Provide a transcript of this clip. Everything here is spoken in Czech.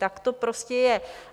Tak to prostě je.